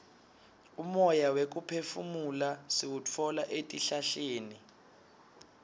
umoya wekuphefumula siwutfola etihlahleni